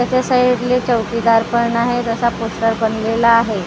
त्याच्या साईडले चौकीदार पण आहे तसा पोस्टर बनलेला आहे .